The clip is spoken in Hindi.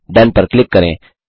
डोन पर क्लिक करें